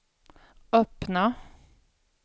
öppna